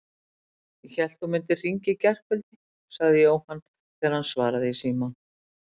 Ég hélt þú mundir hringja í gærkvöldi sagði Jóhann þegar hann svaraði í símann.